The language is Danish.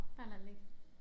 Bare lad det ligge